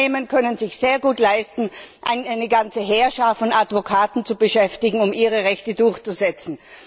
Große Unternehmen können sich sehr gut leisten, eine ganze Heerschar von Advokaten zu beschäftigen, um ihre Rechte durchzusetzen.